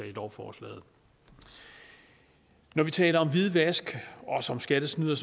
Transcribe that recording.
i lovforslaget når vi taler om hvidvask skattesnyd og